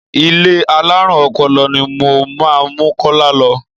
Ilé alárùn ọpọlọ ni mo máa mú Kọ́lá lọ.